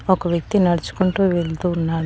ఒక వ్యక్తి నడుచుకుంటూ వెళ్తూ ఉన్నాడు.